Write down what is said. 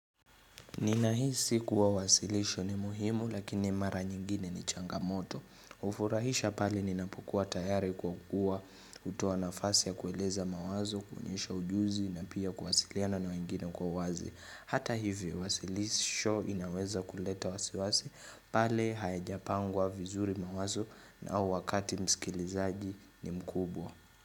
Ninahisi kuwa uwasilisho ni muhimu lakini mara nyingine ni changamoto. Ufurahisha pale ninapokuwa tayari kwa kuwa hutoa nafasi ya kueleza mawazo, kuonyesha ujuzi na pia kuwasiliana na wengine kwa wazi. Hata hivyo wasilisho inaweza kuleta wasiwasi, pale hayajapangwa vizuri mawazo na wakati msikilizaji ni mkubwa.